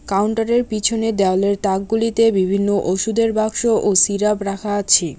কাউন্টারের পিছনে দেওয়ালের তাকগুলিতে বিভিন্ন ওষুধের বাক্স ও সিরাপ রাখা আছে।